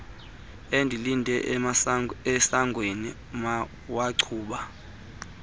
endilinde esangweni wancuma